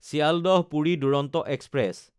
চিল্ডাহ–পুৰি Duronto express